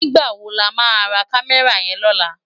Nigbá má wó lá má rá Kàmèrá yèn lòlá?